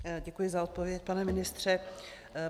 Děkuji za odpověď, pane ministře.